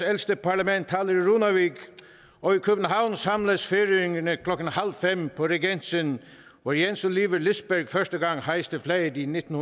ældste parlament taler i runavík og i københavn samles færingerne klokken halv fem på regensen hvor jens olivur lisberg første gang hejste flaget i nitten